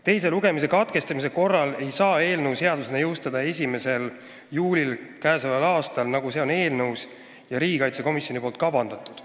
Teise lugemise katkestamise korral ei saaks eelnõu seadusena jõustada 1. juulist k.a, nagu on eelnõus ja riigikaitsekomisjoni poolt kavandatud.